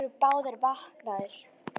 Þeir voru báðir vaknaðir.